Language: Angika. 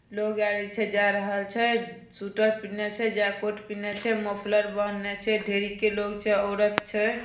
लोग आरे छै जा रहल छै। सूटर पह्नल छै जैकेट पह्नल छै मोफलर बहनने छै। ढेरी के लोग छै औरत छै।